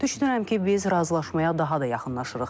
Düşünürəm ki, biz razılaşmaya daha da yaxınlaşırıq.